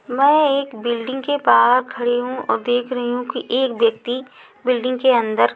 मैं एक बिल्डिंग के बाहर खड़ी हूँ औ देख रही हूँ कि एक व्यक्ति बिल्डिंग के अन्दर --